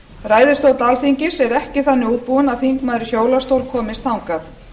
ræðustóll alþingis er ekki þannig útbúinn að þingmaður í hjólastól komist þangað